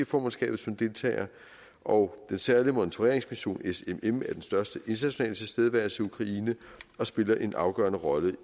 formandskabet som deltagere og den særlige monitoreringsmission smm er den største internationale tilstedeværelse i ukraine og spiller en afgørende rolle i